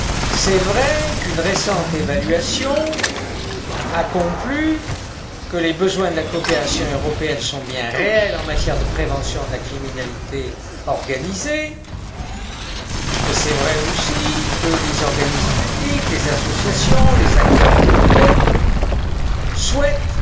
Il est vrai qu'une récente évaluation a conclu que les besoins de la coopération européenne sont bien réels en matière de prévention de la criminalité organisée, et il est vrai aussi que les organismes publics, les associations, les acteurs privés, souhaitent